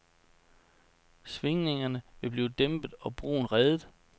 Svingningerne ville blive dæmpet, og broen reddet.